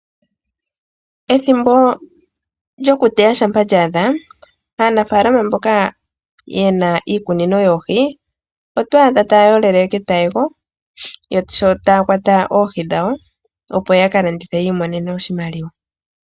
Ethimbo lyokuteya shampa lya adha aanafalama mboka yena iikunino yoohi oto adha taya yolele ketayego, sho taya kwata oohi dhawo opo ya ka landithe yi imonene oshimaliwa.